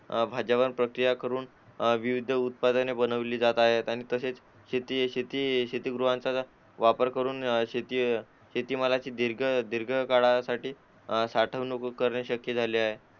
भाज्यांवर प्रक्रिया करून अह विविधउत्पादने बनवली जात आहे आणि तसेच शेती शीतगृहात शेतीमालाची दीर्घकाळासाठी साठवणूक करून शक्य झाले आहे